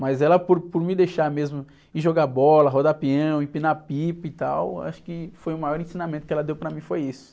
Mas ela, por, por me deixar mesmo ir jogar bola, rodar peão, empinar pipa e tal, acho que foi o maior ensinamento que ela deu para mim foi isso.